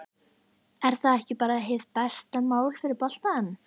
Er það ekki bara hið besta mál fyrir boltann?